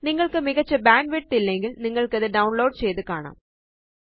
നിങ്ങള്ക്ക് മികച്ച ബാൻഡ്വിഡ്ത്ത് ഇല്ലെങ്കില് നിങ്ങള്ക്കത് ഡൌണ്ലോഡ് ചെയ്ത് കാണാം